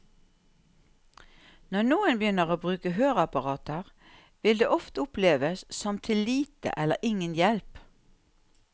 Når noen begynner å bruke høreapparater, vil det ofte oppleves som til lite eller ingen hjelp.